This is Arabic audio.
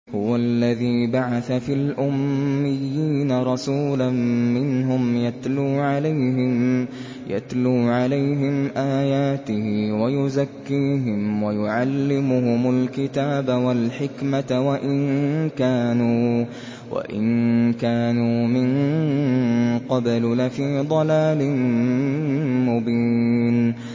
هُوَ الَّذِي بَعَثَ فِي الْأُمِّيِّينَ رَسُولًا مِّنْهُمْ يَتْلُو عَلَيْهِمْ آيَاتِهِ وَيُزَكِّيهِمْ وَيُعَلِّمُهُمُ الْكِتَابَ وَالْحِكْمَةَ وَإِن كَانُوا مِن قَبْلُ لَفِي ضَلَالٍ مُّبِينٍ